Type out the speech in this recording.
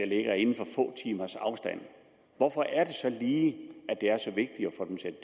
ligger inden for få timers afstand hvorfor er det så lige det